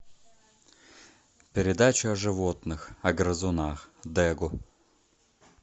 передача о животных о грызунах дегу